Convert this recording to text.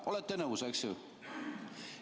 Olete nõus, eks ju?